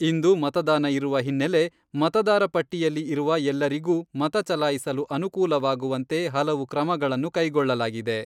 ಇಂದು ಮತದಾನ ಇರುವ ಹಿನ್ನೆಲೆ ಮತದಾರ ಪಟ್ಟಿಯಲ್ಲಿ ಇರುವ ಎಲ್ಲರಿಗೂ ಮತ ಚಲಾಯಿಸಲು ಅನುಕೂಲವಾಗುವಂತೆ ಹಲವು ಕ್ರಮಗಳನ್ನು ಕೈಗೊಳ್ಳಲಾಗಿದೆ.